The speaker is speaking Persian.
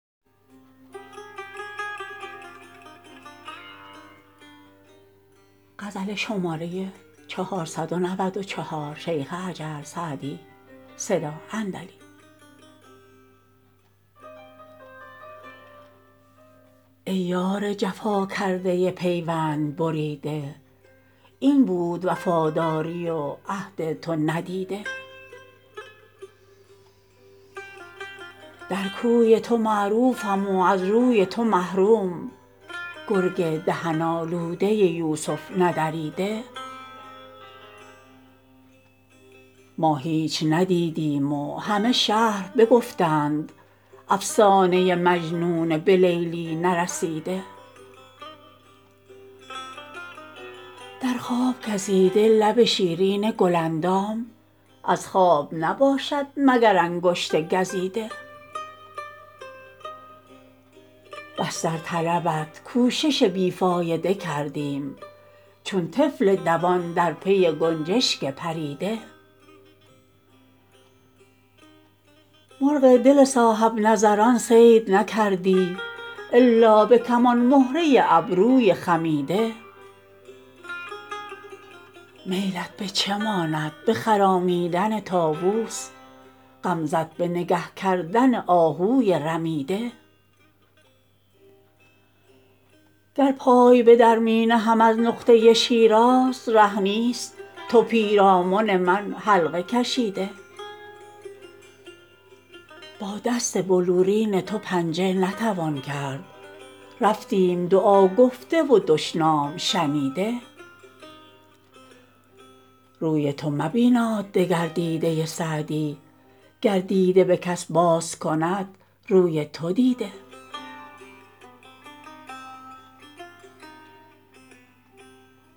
ای یار جفا کرده پیوند بریده این بود وفاداری و عهد تو ندیده در کوی تو معروفم و از روی تو محروم گرگ دهن آلوده یوسف ندریده ما هیچ ندیدیم و همه شهر بگفتند افسانه مجنون به لیلی نرسیده در خواب گزیده لب شیرین گل اندام از خواب نباشد مگر انگشت گزیده بس در طلبت کوشش بی فایده کردیم چون طفل دوان در پی گنجشک پریده مرغ دل صاحب نظران صید نکردی الا به کمان مهره ابروی خمیده میلت به چه ماند به خرامیدن طاووس غمزه ت به نگه کردن آهوی رمیده گر پای به در می نهم از نقطه شیراز ره نیست تو پیرامن من حلقه کشیده با دست بلورین تو پنجه نتوان کرد رفتیم دعا گفته و دشنام شنیده روی تو مبیناد دگر دیده سعدی گر دیده به کس باز کند روی تو دیده